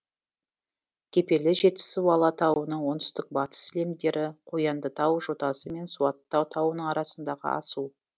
кепелі жетісу алатауының оңтүстік батыс сілемдері қояндытау жотасы мен суаттау тауының арасындағы асу